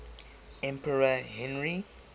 emperor henry